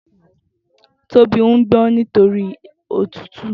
Tobi n gbọn nitóri ótùtú